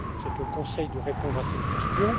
mandat. C'est au Conseil de répondre à cette question.